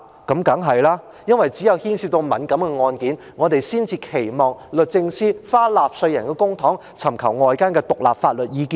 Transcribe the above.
當然是，因為只有牽涉到敏感案件，我們才期望律政司花納稅人付出的公帑，尋求外間的獨立法律意見。